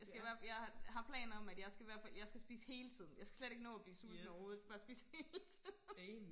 Jeg skal i hvert jeg har har planer om at jeg skal hvert fald jeg skal spise hele tiden jeg skal slet ikke nå at blive sulten overhovedet jeg skal bare spise hele tiden